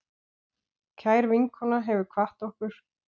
Kær vinkona hefur kvatt okkur.